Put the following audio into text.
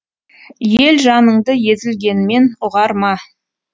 ел жаныңды езілгенмен ұғар ма